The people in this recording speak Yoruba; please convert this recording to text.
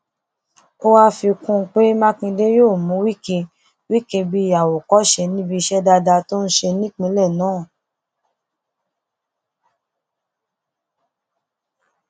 ó wàá fi kún un pé mákindé yóò mú wike wike bíi àwòkọṣe níbi iṣẹ dáadáa tó ń ṣe nípìnlẹ náà